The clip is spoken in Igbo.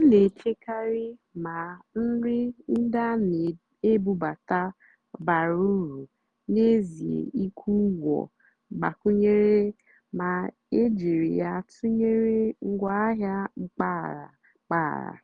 m nà-èchékàrị́ mà nrì ndí á nà-èbúbátá bàrà ùrù n'èzíé ị́kwụ́ ụ́gwọ́ mgbàkwúnyéré mà é jìrí yá tụ́nyeré ngwáàhịá mpàgàrà. mpàgàrà.